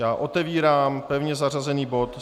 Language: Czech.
Já otevírám pevně zařazený bod